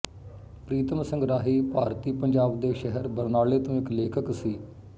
ਪ੍ਰੀਤਮ ਸਿੰਘ ਰਾਹੀ ਭਾਰਤੀ ਪੰਜਾਬ ਦੇ ਸ਼ਹਿਰ ਬਰਨਾਲੇ ਤੋਂ ਇੱਕ ਲੇਖਕ ਸੀ